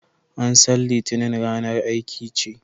An san litinin ranar aiki ce